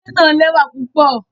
Ile naa lẹwa pupọ